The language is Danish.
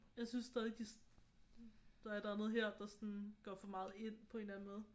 Jeg synes stadig de der er et eller andet her der går for meget ind på en eller anden måde